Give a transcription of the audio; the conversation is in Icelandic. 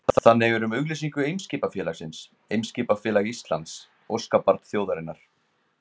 Þannig er um auglýsingu Eimskipafélagsins Eimskipafélag Íslands, óskabarn þjóðarinnar.